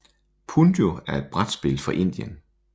Punjo er et brætspil fra Indien